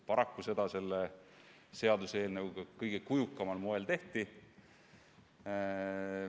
Paraku just seda selle seaduseelnõuga kõige kujukamal moel tehti.